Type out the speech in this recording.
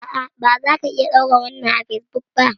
A'a bazaka iya ɗora wannan a fesbuk ba